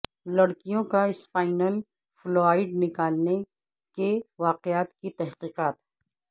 لڑکیوں کا spinal fluid نکالنے کے واقعات کی تحقیقات